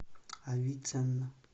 авиценна